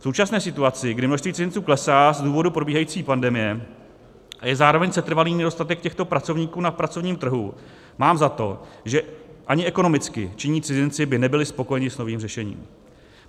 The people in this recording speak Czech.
V současné situaci, kdy množství cizinců klesá z důvodu probíhající pandemie a je zároveň setrvalý nedostatek těchto pracovníků na pracovním trhu, mám za to, že ani ekonomicky činní cizinci by nebyli spokojeni s novým řešením.